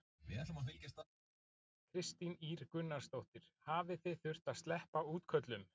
Kristín Ýr Gunnarsdóttir: Hafið þið þurft að sleppa útköllum?